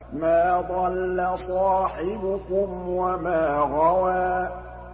مَا ضَلَّ صَاحِبُكُمْ وَمَا غَوَىٰ